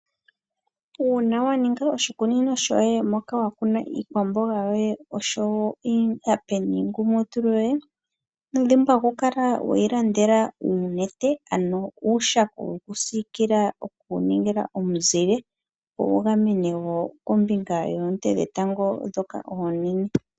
Uuna wa ninga oshikunino shoye moka wa kuna iikwamboga yoye oshowo iihape niingumutulu yoye ino dhimbwa oku kala weyi landela uunete ano uushako woku sikila woku ningila omuzile wu gamene wo kombinga yoonte dhetango ndhoka oonene.